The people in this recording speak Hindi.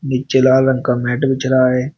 नीचे लाल रंग का जला रहे।